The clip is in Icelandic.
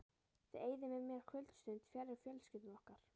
Þið eyðið með mér kvöldstund fjarri fjölskyldum ykkar.